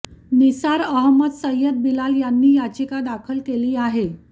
निसार अहमद सय्यद बिलाल यांनी याचिका दाखल केली आहे